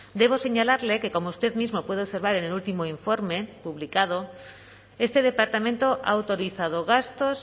debo señalarle que como usted mismo puede observar en el último informe publicado este departamento ha autorizado gastos